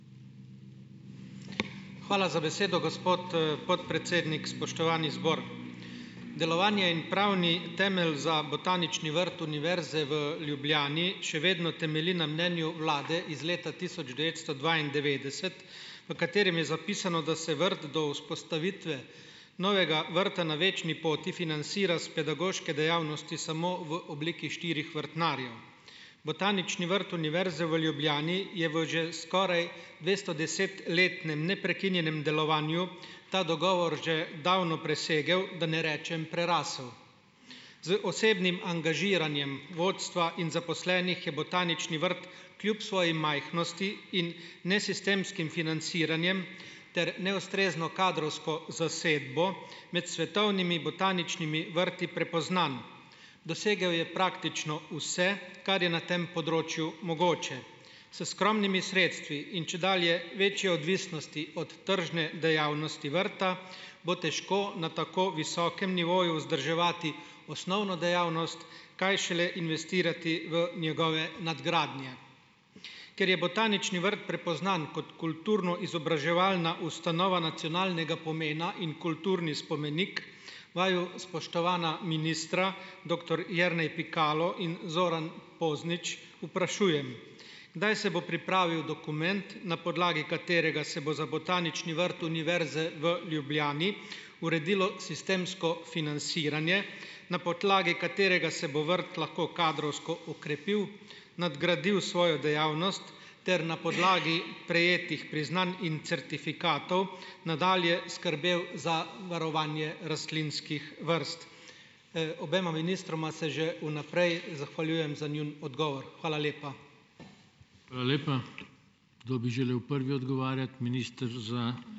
Hvala za besedo, gospod, podpredsednik. Spoštovani zbor! Delovanje in pravni temelj za botanični vrt Univerze v Ljubljani še vedno temelji na mnenju vlade iz leta tisoč devetsto dvaindevetdeset, v katerem je zapisano, da se vrt do vzpostavitve novega vrta na Večni poti financira iz pedagoške dejavnosti samo v obliki štirih vrtnarjev. Botanični vrt Univerze v Ljubljani je v že skoraj dvestodesetletnem neprekinjenem delovanju ta dogovor že davno presegel, da ne rečem prerasel. Z osebnim angažiranjem vodstva in zaposlenih je botanični vrt kljub svoji majhnosti in nesistemskim financiranjem ter neustrezno kadrovsko zasedbo med svetovnimi botaničnimi vrti prepoznan. Dosegel je praktično vse, kar je na tem področju mogoče. S skromnimi sredstvi in čedalje večjo odvisnostjo od tržne dejavnosti vrta bo težko na tako visokem nivoju vzdrževati osnovno dejavnost, kaj šele investirati v njegove nadgradnje. Ker je botanični vrt prepoznan kot kulturno-izobraževalna ustanova nacionalnega pomena in kulturni spomenik, vaju, spoštovana ministra, doktor Jernej Pikalo in Zoran Poznič, vprašujem, kdaj se bo pripravil dokument, na podlagi katerega se bo za Botanični vrt Univerze v Ljubljani uredilo sistemsko financiranje, na podlagi katerega se bo vrt lahko kadrovsko okrepil, nadgradil svojo dejavnost ter na podlagi prejetih priznanj in certifikatov nadalje skrbel za varovanje rastlinskih vrst. obema ministroma se že vnaprej zahvaljujem za njun odgovor. Hvala lepa.